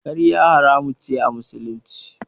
Ƙarya haramun ce a Musulunci.